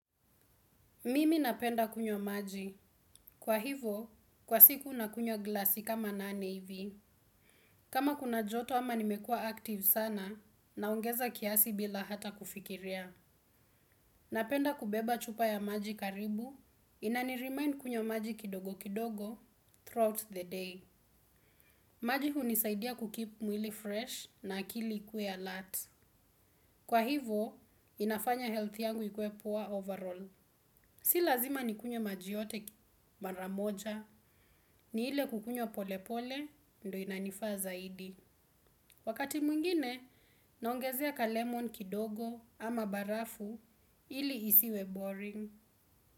Mimi napenda kunywa maji. Kwa hivo, kwa siku nakunywa glasi kama nane hivi. Kama kuna joto ama nimekua active sana naongeza kiasi bila hata kufikiria. Napenda kubeba chupa ya maji karibu. Inaniremind kunywa maji kidogo kidogo throughout the day. Maji hunisaidia kukeep mwili fresh na akili ikue alert. Kwa hivo, inafanya health yangu ikue poor overall. Si lazima nikunywe maji yote mara moja ni ile kukunywa pole pole ndio inanifaa zaidi. Wakati mwingine naongezea ka lemon kidogo ama barafu ili isiwe boring.